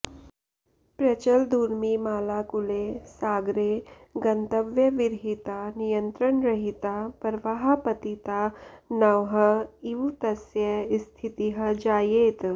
प्रचलदूर्मिमालाकुले सागरे गन्तव्यविरहिता नियन्त्रणरहिता प्रवाहपतिता नौः इव तस्य स्थितिः जायेत